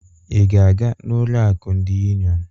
Ị ga-aga n'ụlọ akụ ndị Union?